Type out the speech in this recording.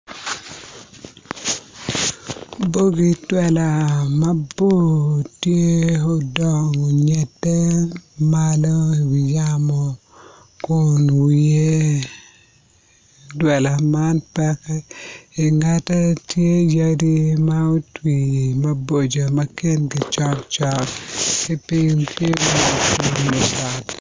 OB twela mabor tye odongo onyede Malo iwi yamo Kun wiye twela man pekke ingete tye yadi ma otwi maboco ma kingi cokcok ki piny